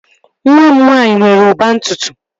Nwa m nwaanyị nwere ụba ntutu